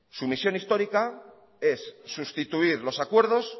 su misión histórica es sustituir los acuerdos